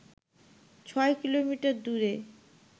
ছয় কিলোমিটার দূরে